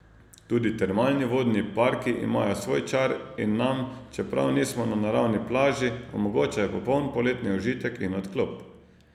Tudi termalni vodni parki imajo svoj čar in nam, čeprav nismo na naravni plaži, omogočajo popoln poletni užitek in odklop.